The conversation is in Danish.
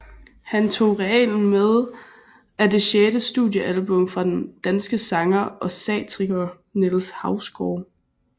Han tog realen med er det sjette studiealbum fra den danske sanger og satiriker Niels Hausgaard